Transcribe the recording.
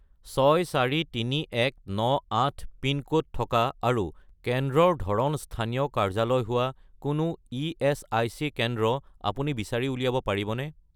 643198 pin code থকা আৰু কেন্দ্ৰৰ ধৰণ স্থানীয় কাৰ্যালয় হোৱা কোনো ইএচআইচি কেন্দ্ৰ আপুনি বিচাৰি উলিয়াব পাৰিবনে?